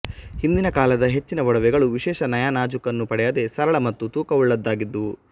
ಹಿಂದಿನ ಕಾಲದ ಹೆಚ್ಚಿನ ಒಡವೆಗಳು ವಿಶೇಷ ನಯನಾಜೂಕನ್ನು ಪಡೆಯದೆ ಸರಳ ಮತ್ತು ತೂಕವುಳ್ಳದ್ದಾಗಿದ್ದುವು